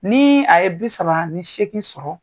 Ni a ye bi saba ni seeKin sɔrɔ